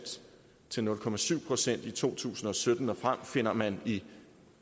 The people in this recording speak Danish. til nul procent i to tusind og sytten og frem finder man i